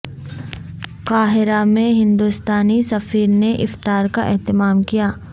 قاہرہ میں ہندوستانی سفیر نے افطار کا اہتمام کیا